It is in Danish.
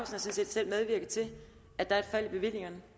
set selv medvirket til at der er et fald i bevillingerne